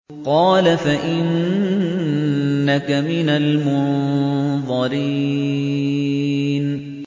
قَالَ فَإِنَّكَ مِنَ الْمُنظَرِينَ